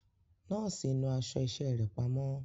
Nọ́ọ̀sì náà aṣọ iṣẹ́ rẹ̀ pamọ́.